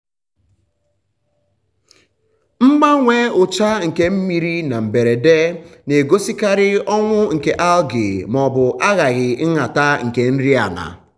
mgbanwe ucha nke mmiri na mberede na-egosikarị ọnwụ nke algae maọbụ ahaghị nhata nke nri ala.